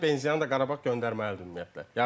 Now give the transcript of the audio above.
benzianı da Qarabağa göndərməli idi ümumiyyətlə.